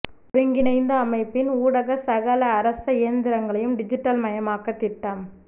ஒருங்கிணைந்த அமைப்பின் ஊடாக சகல அரச இயந்திரங்களையும் டிஜிட்டல் மயமாக்க திட்டம்